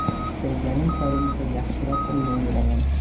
Keksayganim sari esa yaxshiroq o‘ynayveraman.